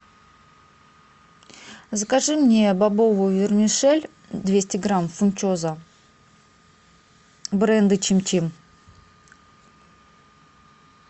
закажи мне бобовую вермишель двести грамм фунчоза бренда чим чим